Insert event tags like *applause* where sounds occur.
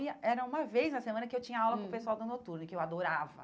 *unintelligible* Era uma vez na semana que eu tinha aula com o pessoal da noturna, que eu adorava.